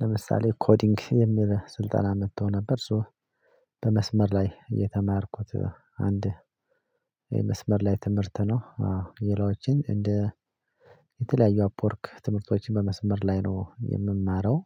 ለምሳሌ ኮዲንግ የሚል ስልጠና መጥተው ነበር ሶ። በመስመር ላይ እየተማርኩት አንድ የመስመር ላይ ትምህርት ነው። የሌሎችን እንደ የተለያዩ አፕ ወርክ ትምህርቶችን በመስመር ላይ ነው የምማረው።